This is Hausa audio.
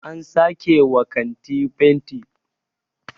an sake wa kanti fenti